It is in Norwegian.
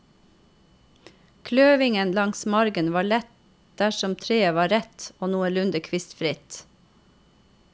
Kløvingen langs margen var lett dersom treet var rett og noenlunde kvistfritt.